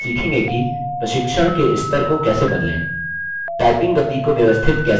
प्रशिक्षण के स्तर को कैसे बदलें typing गति को व्यवस्थित कैसे करें